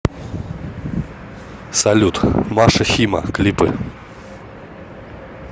салют маша хима клипы